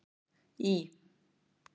Í